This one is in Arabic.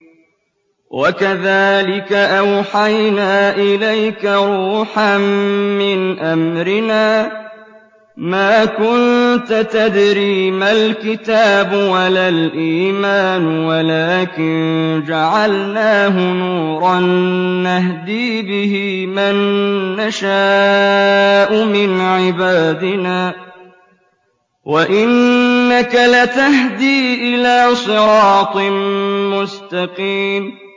وَكَذَٰلِكَ أَوْحَيْنَا إِلَيْكَ رُوحًا مِّنْ أَمْرِنَا ۚ مَا كُنتَ تَدْرِي مَا الْكِتَابُ وَلَا الْإِيمَانُ وَلَٰكِن جَعَلْنَاهُ نُورًا نَّهْدِي بِهِ مَن نَّشَاءُ مِنْ عِبَادِنَا ۚ وَإِنَّكَ لَتَهْدِي إِلَىٰ صِرَاطٍ مُّسْتَقِيمٍ